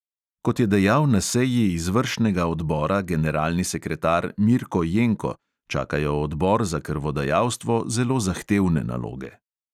Kot je dejal na seji izvršnega odbora generalni sekretar mirko jenko, čakajo odbor za krvodajalstvo zelo zahtevne naloge.